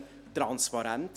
Sie haben gesehen: